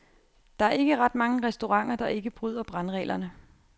Der er ikke ret mange restauranter, der ikke bryder brandreglerne.